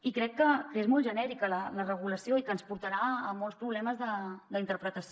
i crec que és molt genèrica la regulació i que ens portarà molts problemes d’interpretació